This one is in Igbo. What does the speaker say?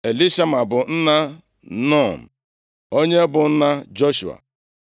Elishama bụ nna Nun, onye bụ nna Joshua.